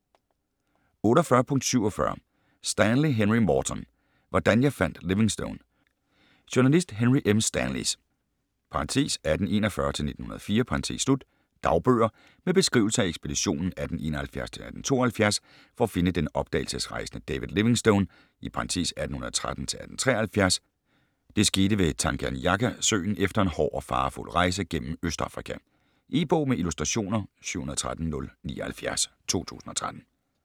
48.47 Stanley, Henry Morton: Hvordan jeg fandt Livingstone Journalist Henry M. Stanleys (1841-1904) dagbøger med beskrivelser af ekspeditionen 1871-1872 for at finde den opdagelsesrejsende David Livingstone (1813-1873). Det skete ved Tanganyikasøen efter en hård og farefuld rejse gennem Østafrika. E-bog med illustrationer 713079 2013.